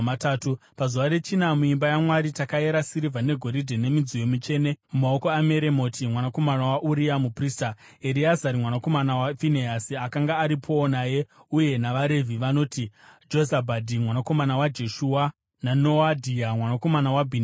Pazuva rechina, muimba yaMwari takayera sirivha negoridhe nemidziyo mitsvene mumaoko aMeremoti mwanakomana waUria, muprista. Ereazari mwanakomana waFinehasi akanga aripowo naye, uye navaRevhi vanoti Jozabhadhi mwanakomana waJeshua naNoadhia mwanakomana waBhinui.